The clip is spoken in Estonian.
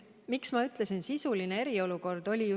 Miks ma ütlesin, et meil on sisuline eriolukord?